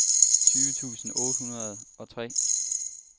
tyve tusind otte hundrede og tre